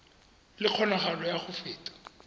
le kgonagalo ya go feta